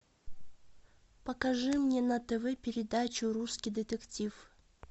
покажи мне на тв передачу русский детектив